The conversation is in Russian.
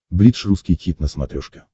бридж русский хит на смотрешке